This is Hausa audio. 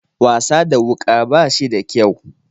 Wasa da wuka bashi da kyau.